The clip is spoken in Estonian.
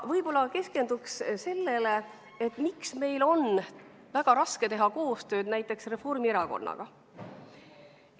Võib-olla keskenduks sellele, miks meil on väga raske teha koostööd näiteks Reformierakonnaga.